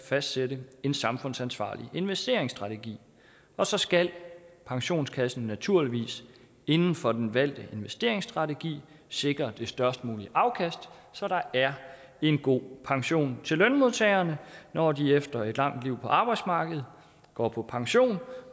fastsætte en samfundsansvarlig investeringsstrategi og så skal pensionskassen naturligvis inden for den valgte investeringsstrategi sikre det størst mulige afkast så der er en god pension til lønmodtagerne når de efter et langt liv på arbejdsmarkedet går på pension